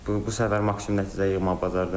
Bu bu səfər maksimum nəticə yığmağı bacardım.